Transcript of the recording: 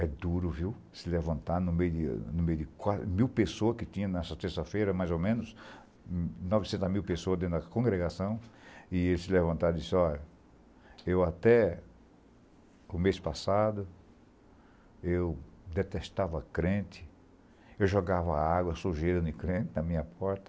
É duro, viu, se levantar no meio de mil pessoas que tinha nessa terça-feira, mais ou menos, novecentos mil pessoas dentro da congregação, e ele se levantar e disse, olha, eu até o mês passado eu detestava crente, eu jogava água sujeira no crente na minha porta,